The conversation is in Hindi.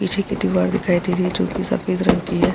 पीछे की दीवार दिखाई दे रही है जो कि सफेद रंग की है।